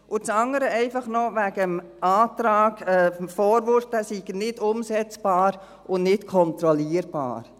Das andere noch wegen des Antrags, der Vorwurf, dieser sei nicht umsetzbar und nicht kontrollierbar: